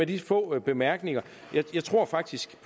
de få bemærkninger jeg tror faktisk